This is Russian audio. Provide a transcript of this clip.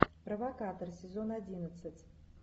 провокатор сезон одиннадцать